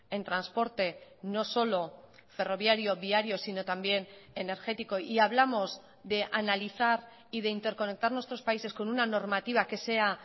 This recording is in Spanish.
en transporte no solo ferroviario viario sino también energético y hablamos de analizar y de interconectar nuestros países con una normativa que sea